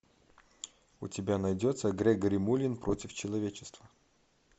у тебя найдется грегори мулин против человечества